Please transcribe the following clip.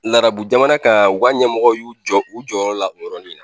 Larabu jamana kan u ka ɲɛmɔgɔw jɔ y'u jɔ u jɔyɔrɔ la yɔrɔni na